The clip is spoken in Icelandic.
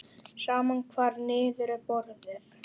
Sama hvar niður er borið.